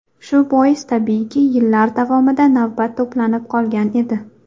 Shu bois, tabiiyki, yillar davomida navbat to‘planib qolgan edi.